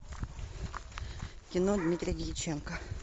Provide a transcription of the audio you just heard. кино дмитрия дьяченко